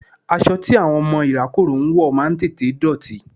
Aṣọ tí àwọn ọmọ ìrákòrò ń wọ̀ máa ń tètè dọ̀tí.